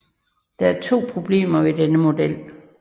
Der er to problemer ved denne model